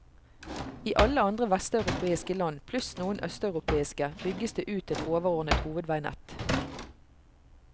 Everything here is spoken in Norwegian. I alle andre vesteuropeiske land, pluss noen østeuropeiske, bygges det ut et overordnet hovedveinett.